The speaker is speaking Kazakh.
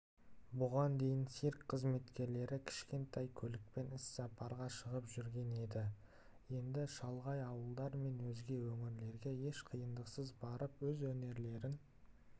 бұған дейін цирк қызметкерлері кішкентай көлікпен іссапарға шығып жүрген еді енді шалғай ауылдар мен өзге өңірлерге еш қиындықсыз барып өз өнерлерін